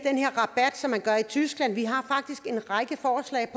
tyskland vi har faktisk en række forslag